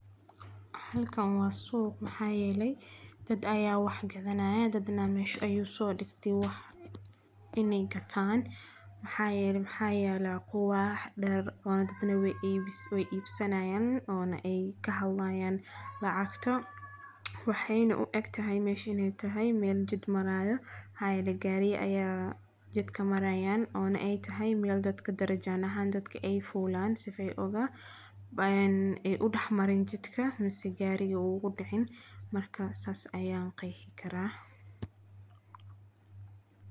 Halkan waa suuq maxaa yele dad ayaa wax gadhanaya dad neh mesha ayuu soo digtey wax in eey gataan amxaa yele maxaayala quwaax dar oona dad neh weey ibsinayaan oona ey kahadlayaan lacagta. Waxeyna uegtahy ineeytahy meel jid maraayo maxaa yele gaariya ayaa jidka maraayan oona eey tahay meel dadka darajaan ahaan dadka eey fulaan sidha eey udaxmarin jidka mise gaaya uugudicin marka saas ayaan qeexikaraa.